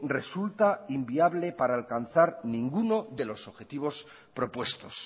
resulta inviable para alcanzar ninguno de los objetivos propuestos